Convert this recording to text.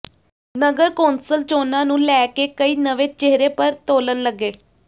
ਨਗਰ council ਚੋਣਾਂ ਨੂੰ ਲੈ ਕੇ ਕਈ ਨਵੇਂ ਚਿਹਰੇ ਪਰ ਤੋਲਣ ਲੱਗੇ